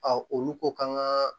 olu ko k'an ka